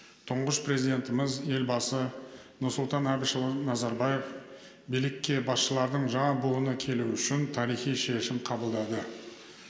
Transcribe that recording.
тұңғыш президентіміз елбасы нұрсұлтан әбішұлы назарбаев билікке басшылардың жаңа буыны келуі үшін тарихи шешім қабылдады